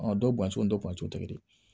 dɔw b'an cu bɔntiw tɛ kɛ di